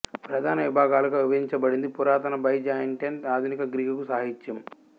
ప్రధాన విభాగాలుగా విభజించబడింది పురాతన బైజాంటైన్ ఆధునిక గ్రీకు సాహిత్యం